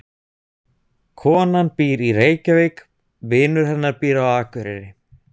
Konan býr í Reykjavík. Vinur hennar býr á Akureyri.